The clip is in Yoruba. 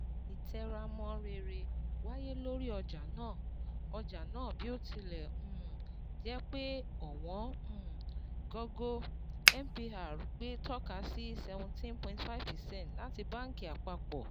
Ìtẹramọ́ rere wáyé lórí ọjà náà, ọjà náà, bí ó tilẹ̀ um jẹ́ pé ọ̀wọ́n um gógó MPR gbé tọ́ka sí seventeen point five percent láti Báǹkì Àpapọ̀.